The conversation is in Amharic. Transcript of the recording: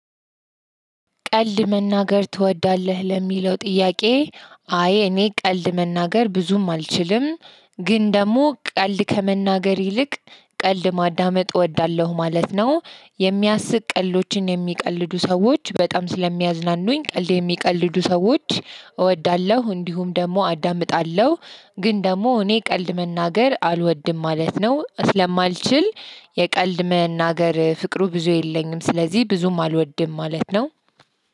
ቀልድ መናገር ትወዳለህ ለሚለው ጥያቄ አይ እኔ ቀልድ መናገር ብዙም አልችልም ግን ደግሞ ቀልድ ከመናገር ይልቅ ቀልድ ማዳመጥ እወዳለሁ ማለት ነው። የሚያስቅ ቀልዶችን የሚቀልዱ ሰዎች በጣም ስለሚያዝናኑኝ ቀልድ የሚቀልዱ ሰዎች እወዳለሁ እንዲሁም ደግሞ አዳምጣለሁ። ግን ደግሞ እኔ ቀልድ መናገር አልወድም ማለት ነው ስለማልችል። የቀልድ መናገር ፍቅሩ ብዙ የለኝም ስለዚህ ብዙም አልወድም ማለት ነው።